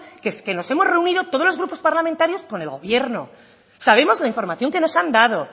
que es que nos hemos reunidos todos los grupos parlamentarios con el gobierno sabemos la información que nos han dado